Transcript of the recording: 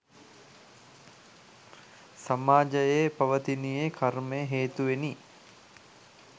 සමාජයේ පවතිනුයේ කර්මය හේතුවෙනි.